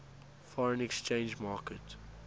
foreign exchange market